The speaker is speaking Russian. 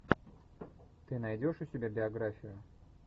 ты найдешь у себя биографию